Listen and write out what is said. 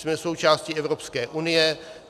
Jsme součástí Evropské unie.